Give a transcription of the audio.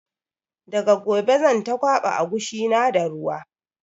Daga gobe zan ta kwaɓa agushi na da ruwa